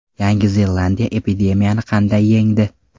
Yangi Zelandiya epidemiyani qanday yengdi?